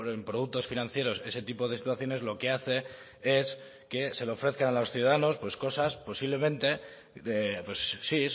en productos financieros ese tipo de situaciones lo que hace es que se le ofrezca a los ciudadanos pues cosas posiblemente sí